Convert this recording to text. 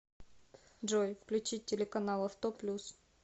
джой включить телеканал авто плюс